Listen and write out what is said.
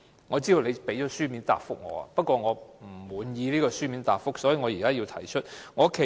我知道主席已作出書面答覆，不過我不滿意，所以要在會議上提出。